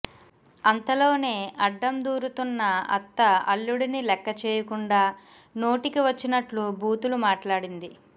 అంతలోనే అడ్డం దూరుతున్న అత్త అల్లుడిని లెక్కచెయ్యకుండా నోటికి వచ్చినట్లు బూతులు మాట్లాడింది